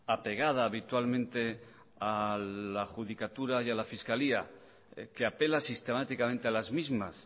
apegada habitualmente a la adjudicatura y a la fiscalía que apela sistemáticamente a las mismas